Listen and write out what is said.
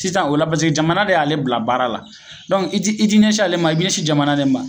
Sisan o la paseke jamana de y'ale bila baara la dɔnku i ti i ti nɛsi ale ma i b'i ɲɛsi jamana de ma